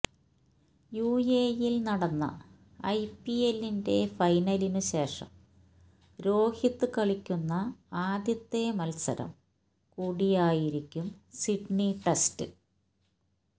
യുഎഇയില് നടന്ന ഐപിഎല്ലിന്റെ ഫൈനലിനുശേഷം രോഹിത് കളിക്കുന്ന ആദ്യത്തെ മല്സരം കൂടിയായിരിക്കും സിഡ്നി ടെസ്റ്റ്